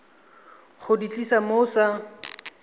go di tlisa mo sa